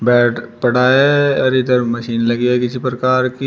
Bed पड़ा है और इधर मशीन लगी है किसी प्रकार की।